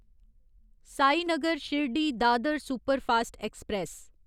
Sainagar Shirdi Dadar superfast express